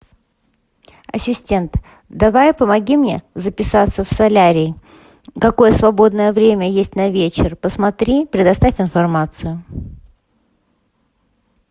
ассистент давай помоги мне записаться в солярий какое свободное время есть на вечер посмотри предоставь информацию